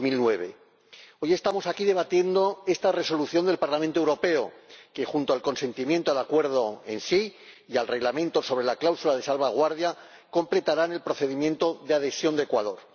2009. Hoy estamos aquí debatiendo esta propuesta de Resolución del Parlamento Europeo que, junto a la aprobación del Acuerdo en sí y del Reglamento sobre la cláusula de salvaguardia, completará el procedimiento de adhesión de Ecuador.